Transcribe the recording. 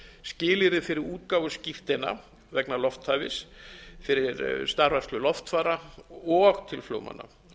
skilyrði fyrir útgáfu skírteina vegna lofthæfis fyrir starfrækslu loftfara og til flugmanna hún er